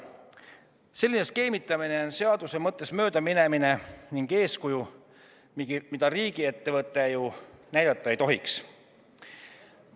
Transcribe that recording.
Selline skeemitamine on seaduse mõttest möödaminemine ja eeskuju, mida riigiettevõte näidata ei tohiks.